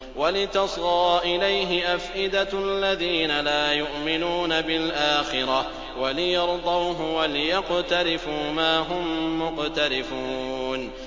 وَلِتَصْغَىٰ إِلَيْهِ أَفْئِدَةُ الَّذِينَ لَا يُؤْمِنُونَ بِالْآخِرَةِ وَلِيَرْضَوْهُ وَلِيَقْتَرِفُوا مَا هُم مُّقْتَرِفُونَ